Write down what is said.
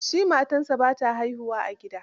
Shi matansa ba sa haihuwa a gida.